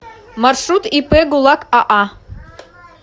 маршрут ип гулак аа